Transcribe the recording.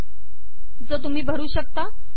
तो तुम्ही भरू शकता